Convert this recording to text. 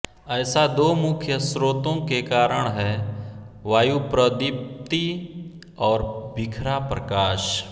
ऐसा दो मुख्य स्रोतों के कारण है वायुप्रदीप्ति और बिखरा प्रकाश